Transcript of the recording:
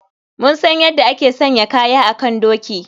Mun san yadda ake sanya kaya a kan doki.